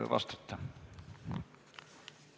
Kaja Kallas Reformierakonna fraktsiooni nimel.